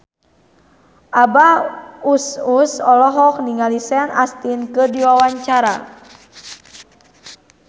Abah Us Us olohok ningali Sean Astin keur diwawancara